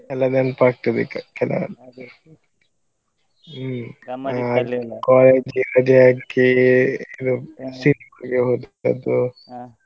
ಎಲ್ಲ ನೆನಪಾಗ್ತದೆ ಈಗ ಹ್ಮ್‌ ಹ college ಗೆ ರಜೆ ಹಾಕಿ .